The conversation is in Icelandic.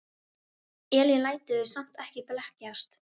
Elín lætur samt ekki blekkjast.